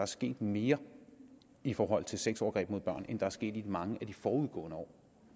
sket mere i forhold til sexovergreb mod børn end der er sket i mange af de forudgående år